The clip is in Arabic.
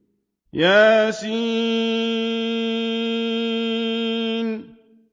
يس